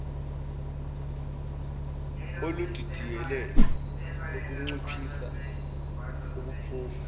oludidiyele lokunciphisa ubuphofu